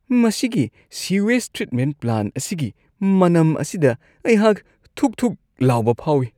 ꯃꯁꯤꯒꯤ sewage treatment plant ꯑꯁꯤꯒꯤ ꯃꯅꯝ ꯑꯁꯤꯗ ꯑꯩꯍꯥꯛ ꯊꯨꯛ-ꯊꯨꯛ ꯂꯥꯎꯕ ꯐꯥꯎꯋꯤ ꯫